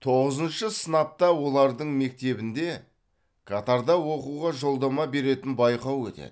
тоғызыншы сынапта олардың мектебінде катарда оқуға жолдама беретін байқау өтеді